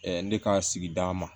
ne ka sigida ma